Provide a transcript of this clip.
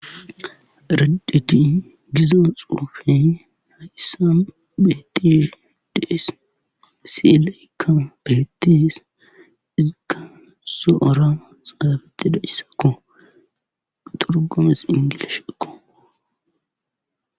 Erideti giza xuufe hayssan beetishe de'ees. siilekka beetees izikka sohuwara xytidayssakko. turgumezi inglishekko.